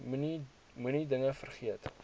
moenie dinge vergeet